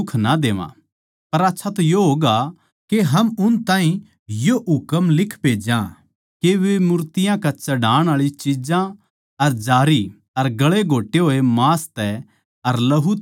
पर आच्छा तो यो होगा के हम उन ताहीं यो हुकम लिख भेजा के वे मूर्तियाँ नै चढ़ाण आळी चिज्जां अर जारी अर गला घोट्टे होया के मांस तै अर लहू तै दूर रहवै